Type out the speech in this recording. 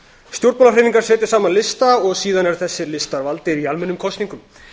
stjórnmálahreyfingar setja saman lista og síðan eru þessir listar valdir í almennum kosningum